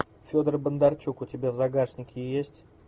федор бондарчук у тебя в загашнике есть